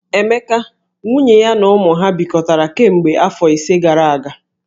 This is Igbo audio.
Emeka, nwunye ya na ụmụ ha bikọtara kemgbe afọ ise gara aga.